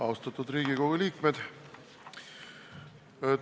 Austatud Riigikogu liikmed!